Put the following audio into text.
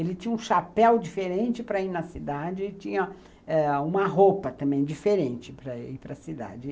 Ele tinha um chapéu diferente para ir na cidade e tinha eh uma roupa também diferente para ir para cidade.